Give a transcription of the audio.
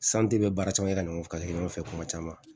bɛ baara caman kɛ ka ɲɔgɔn ka kɛ ɲɔgɔn fɛ kuma caman